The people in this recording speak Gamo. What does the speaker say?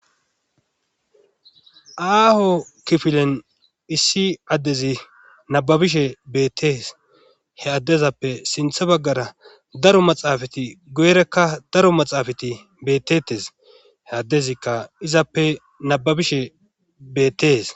aaho kifilen issi addezi nababishe beettees he addezappe sinthe baggara daro maxaafati goyrekka daro maxaafati bettetes he addezikka izappe nababishe beettees